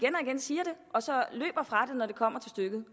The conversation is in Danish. og så løber fra det når det kommer til stykket